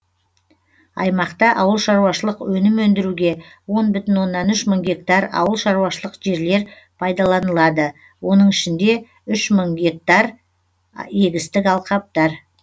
аймақта ауыл шаруашылық өнім өндіруге он бүтін огннан үш мың гектар ауыл шаруашылық жерлер пайдаланылады оның ішінде үш мың гектар егістік алқаптар